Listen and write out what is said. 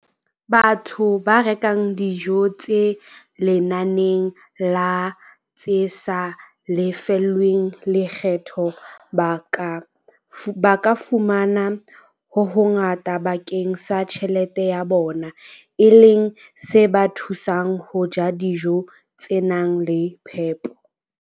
Batho ba rekang dijo tse lenaneng la tse sa lefellweng lekgetho ba ka fumana ho hongata bakeng sa tjhelete ya bona, e leng se ba thusang ho ja dijo tse nang le phepo.